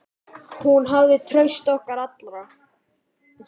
Hún hafði traust okkar allra.